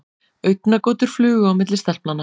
Augnagotur flugu á milli stelpnanna.